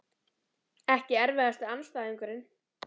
Ekki erfiðasti andstæðingur??